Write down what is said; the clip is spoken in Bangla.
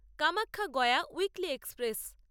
Kamakhya Gaya Weekly express